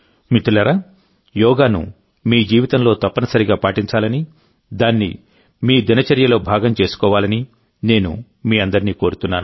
మిత్రులారాయోగాను మీ జీవితంలో తప్పనిసరిగా పాటించాలని దాన్ని మీ దినచర్యలో భాగం చేసుకోవాలని నేను మీ అందరినీ కోరుతున్నాను